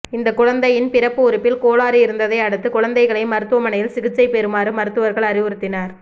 இந்த குழந்தையின் பிறப்பு உறுப்பில் கோளாறு இருந்ததை அடுத்து குழந்தைகள் மருத்துவமனையில் சிகிச்சை பெறுமாறு மருத்துவர்கள் அறிவுறுத்தினர்